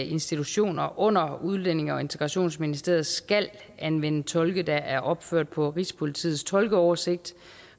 institutioner under udlændinge og integrationsministeriet skal anvende tolke der er opført på rigspolitiets tolkeoversigt